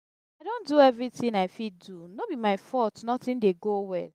i don do everything i fit do no be my fault nothing dey go well.